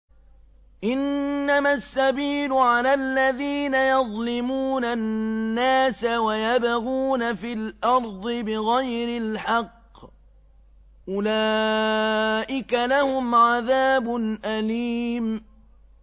إِنَّمَا السَّبِيلُ عَلَى الَّذِينَ يَظْلِمُونَ النَّاسَ وَيَبْغُونَ فِي الْأَرْضِ بِغَيْرِ الْحَقِّ ۚ أُولَٰئِكَ لَهُمْ عَذَابٌ أَلِيمٌ